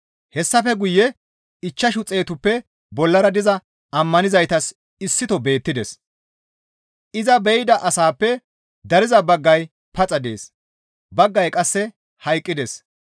Hessafe guye ichchashu xeetuppe bollara diza ammanizaytas issito beettides; iza be7ida asaappe dariza baggay paxa dees; baggay qasse hayqqides.